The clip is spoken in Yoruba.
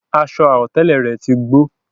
Aṣọ àwọ̀tẹ́lẹ̀ rẹ̀ tí gbó